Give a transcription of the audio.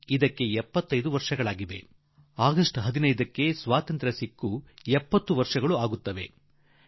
ಭಾರತ ಬಿಟ್ಟು ತೊಲಗಿ ಚಳವಳಿಗೆ ಈ ವರ್ಷ 75 ವರ್ಷ ಆಗಲಿದೆ ಮತ್ತು 15ನೇ ಆಗಸ್ಟ್ ಸ್ವಾತಂತ್ರ್ಯಕ್ಕೆ 70 ವರ್ಷ ತುಂಬಲಿದೆ